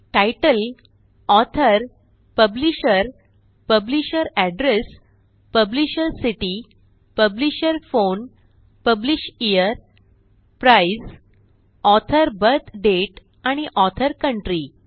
तितले author publisher publisher address publisher city publisher phone publisher price author birth date आणि author country